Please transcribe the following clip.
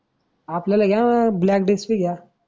आपल्याला घ्या बँडेज की घ्या.